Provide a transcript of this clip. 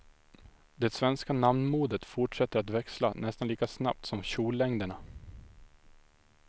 Det svenska namnmodet fortsätter att växla nästan lika snabbt som kjollängderna.